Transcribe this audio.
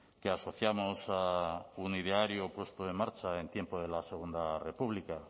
que asociamos a un ideario puesto en marcha en tiempos de la segunda república